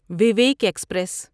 Vivek express